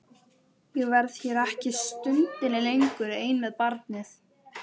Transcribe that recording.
Ég verð hér ekki stundinni lengur ein með barnið.